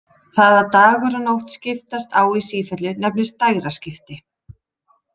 Það að dagur og nótt skiptast á í sífellu nefnist dægraskipti.